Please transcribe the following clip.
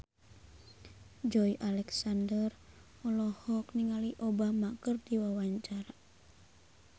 Joey Alexander olohok ningali Obama keur diwawancara